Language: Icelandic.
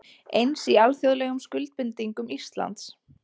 Eins í alþjóðlegum skuldbindingum Íslands